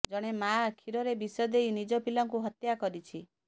ଜଣେ ମାଆ କ୍ଷୀରରେ ବିଷ ଦେଇ ନିଜ ପିଲାଙ୍କୁ ହତ୍ୟା କରିଛି